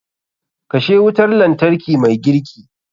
Kashe wutar lantarki mai girki.